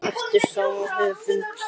eftir sama höfund.